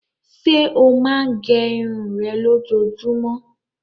Ṣé ó máa gẹ irun rẹ lójoojúmọ́?